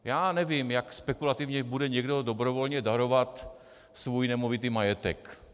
Já nevím, jak spekulativně bude někdo dobrovolně darovat svůj nemovitý majetek.